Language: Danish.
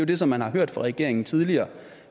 det som man har hørt fra regeringen tidligere